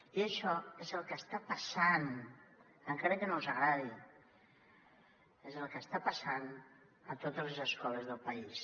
i això és el que està passant encara que no els agradi és el que està passant a totes les escoles del país